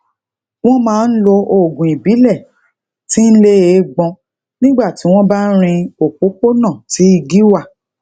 wón máa ń lo oògùn ibile ti n le eegbon nígbà tí wón bá ń rin òpópónà tí igi wà